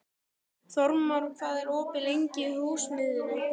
Þórmar, hvað er opið lengi í Húsasmiðjunni?